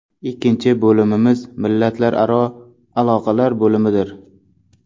Ikkinchi bo‘limimiz millatlararo aloqalar bo‘limidir.